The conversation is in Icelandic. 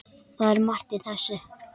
Það er margt í þessu.